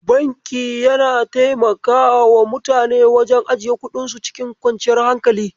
Banki yana taimakawa mutane wajen ajiye kuɗinsu cikin kwanciyar hankali.